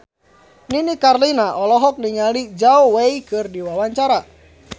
Nini Carlina olohok ningali Zhao Wei keur diwawancara